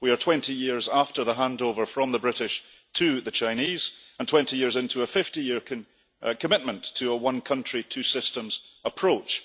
We are 20 years after the handover from the British to the Chinese, and 20 years into a 50 year commitment to a one country, two systems' approach.